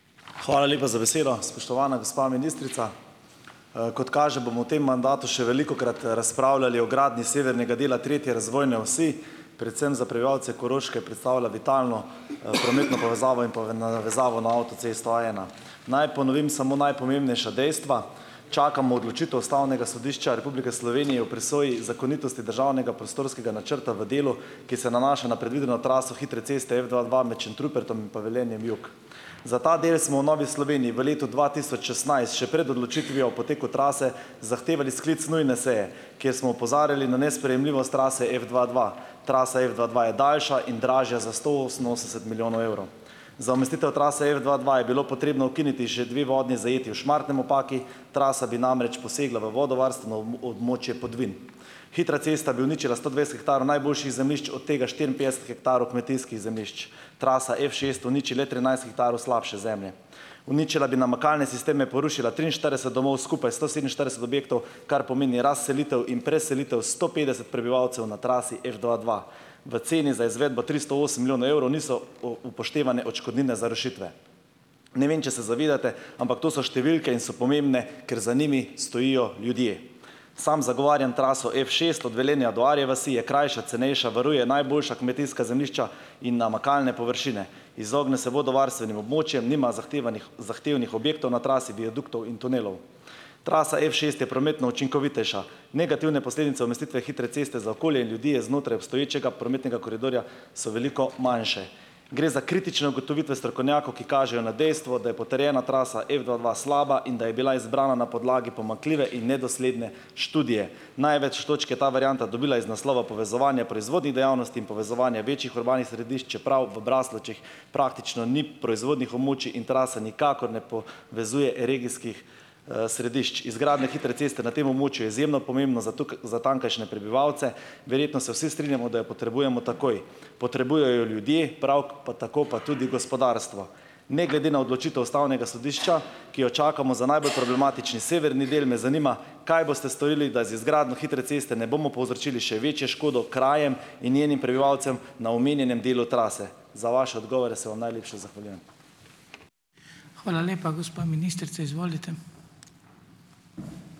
Hvala lepa za besedo. Spoštovana gospa ministrica. Kot kaže, bomo v tem mandatu še velikokrat razpravljali o gradnji severnega dela tretje razvojne osi. Predvsem za prebivalce Koroške predstavlja vitalno prometno povezavo in navezavo na avtocesto A ena. Naj ponovim samo najpomembnejša dejstva. Čakamo odločitev Ustavnega sodišča Republike Slovenije o presoji zakonitosti državnega prostorskega načrta v delu, ki se nanaša na predvideno traso hitre ceste F dva dva med Šentrupertom in pa Velenjem jug. Za ta del smo v Novi Sloveniji v letu dva tisoč šestnajst še pred odločitvijo o poteku trase zahtevali sklic nujne seje, kjer smo opozarjali na nesprejemljivost trase F dva dva. Trasa F dva dva je daljša in dražja za sto oseminosemdeset milijonov evrov. Za umestitev trase F dva dva je bilo potrebno ukiniti že dve vodni zajetji v Šmartnem ob Paki, trasa bi namreč posegla v vodovarstveno območje Podvin. Hitra cesta bi uničila sto dvajset hektarov najboljših zemljišč, od tega štiriinpetdeset hektarov kmetijskih zemljišč. Trasa F šest uniči le trinajst hektarov slabše zemlje. Uničila bi namakalne sisteme, porušila triinštirideset domov, skupaj sto sedeminštirideset objektov, kar pomeni razselitev in preselitev sto petdeset prebivalcev na trasi F dva dva. V ceni za izvedbo tristo osem milijonov evrov niso o upoštevane odškodnine za rešitve. Ne vem, če se zavedate, ampak to so številke in so pomembne, ker za njimi stojijo ljudje. Samo zagovarjam traso F šest od Velenja do Arje vasi, je krajša, cenejša, varuje najboljša kmetijska zemljišča in namakalne površine, izogne se vodovarstvenim območjem, nima zahtevanih zahtevnih objektov na trasi, viaduktov in tunelov. Trasa F šest je prometno učinkovitejša. Negativne posledice umestitve hitre ceste za okolje in ljudi je znotraj obstoječega prometnega koridorja so veliko manjše. Gre za kritične ugotovitve strokovnjakov, ki kažejo na dejstvo, da je potrjena trasa F dva dva slaba in da je bila izbrana na podlagi pomanjkljive in nedosledne študije. Največ točk je ta varianta dobila iz naslova povezovanja proizvodnih dejavnosti in povezovanja večjih urbanih središč, čeprav v Braslovčah praktično ni proizvodnih območij in trasa nikakor ne po vezuje regijskih središč. Izgradnja hitre ceste na tem območju je izjemno pomembno za za tamkajšnje prebivalce. Verjetno se vsi strinjamo, da jo potrebujemo takoj. Potrebujejo jo ljudje, prav pa tako pa tudi gospodarstvo. Ne glede na odločitev Ustavnega sodišča, ki jo čakamo za najbolj problematični severni del , me zanima, kaj boste storili, da z izgradnjo hitre ceste ne bomo povzročili še večje škodo krajem in njenim prebivalcem na omenjenem delu trase. Za vaše odgovore se vam najlepše zahvaljujem.